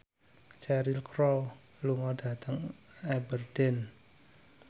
Cheryl Crow lunga dhateng Aberdeen